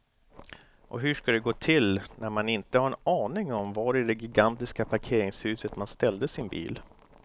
Och hur ska det gå till när man inte har en aning om var i det gigantiska parkeringshuset man ställde sin bil.